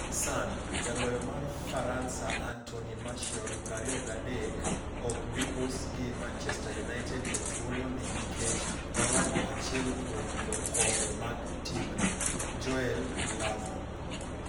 (Sun) Jaloyo mar Faransa Anthony Martial, 23, ok bi us gi Manchester United e thuolo ni kikech omoro achiel kuom jokombe mag timno, Joel Glazer.